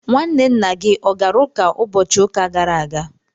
nwanne nna gị ọ gara ụka ụbọchị ụka gara aga